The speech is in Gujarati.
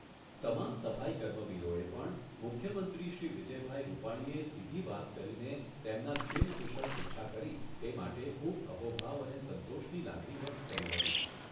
તમામ સફાઇ કર્મવીરોએ પણ મુખ્યમંત્રીશ્રી વિજયભાઈ રૂપાણી એ સીધી વાત કરીને તેમના ક્ષેમકુશળ પૃચ્છા કરી એ માટે ખૂબ અહોભાવ અને સંતોષની લાગણી વ્યક્ત કરી હતી.